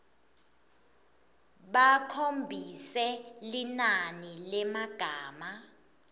bakhombise linani lemagama